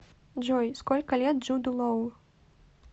джой сколько лет джуду лоу